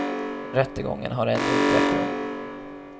Rättegången har ännu inte ägt rum.